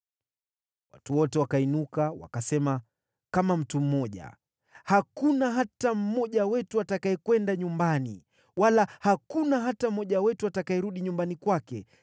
Watu wote wakainuka wakasema, kama mtu mmoja, “Hakuna hata mmoja wetu atakayekwenda nyumbani. Wala hakuna hata mmoja wetu atakayerudi nyumbani kwake.